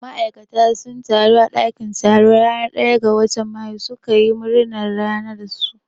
Ma'aikata sun taru a ɗakin taro ranar ɗaya ga watan mayu su ka yi murna ranar su.